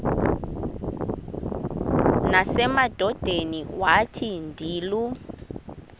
nasemadodeni wathi ndilu